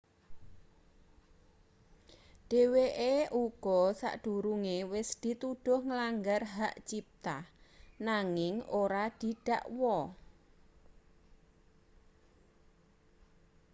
dheweke uga sadurunge wis dituduh nglanggar hak cipta nanging ora didakwa